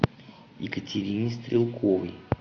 екатерине стрелковой